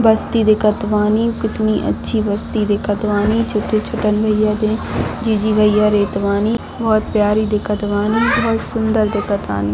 बस्ती दिखत बानी कितनी अच्छी बस्ती दिखत बानी छोटन-छोटन में यह जीजी भईया रेट बानी बहुत प्यारी दिखत बानी बहुत सुन्दर दिखत बानी।